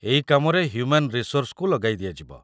ଏଇ କାମରେ ହ୍ୟୁମାନ୍ ରିସୋର୍ସ୍‌କୁ ଲଗାଇଦିଆଯିବ ।